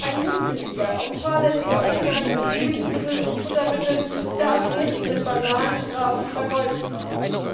Ein mutwilliger und fahrlässiger Umgang mit Lebensmitteln und Futtermitteln darf nicht mit banalen Strafen vergolten werden.